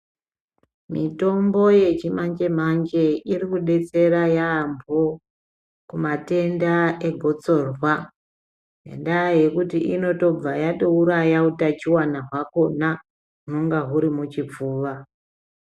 Mitombo yechi manje manje iri kudetsera yambo kumatenda e gotsorwa ngendaa yekuti inotobva yatouraya utachiwana hwakona unenge uri muchipfuva.